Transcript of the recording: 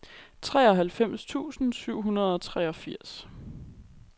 treoghalvfems tusind syv hundrede og treogfirs